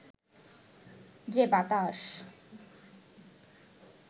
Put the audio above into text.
যে বাতাস